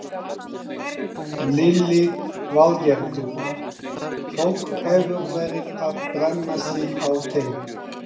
Lillý Valgerður: Fólk hefur verið að brenna sig á þeim?